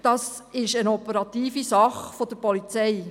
Es handelt sich dabei um eine operative Angelegenheit der Polizei.